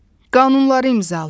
Qanunları imzalayır.